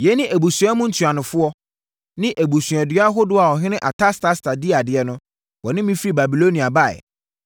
Yei ne abusua mu ntuanofoɔ ne abusuadua ahodoɔ a ɔhene Artasasta di adeɛ no, wɔne me firi Babilonia baeɛ: